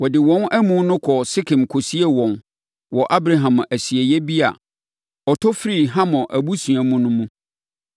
Wɔde wɔn amu no kɔɔ Sekem kɔsiee wɔn wɔ Abraham asieeɛ bi a ɔtɔ firii Hamor abusua mu no mu.